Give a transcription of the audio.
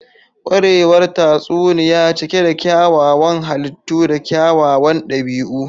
Kwarewar tatsuniya cike da kyawawan halittu da kyawawan dabi'u.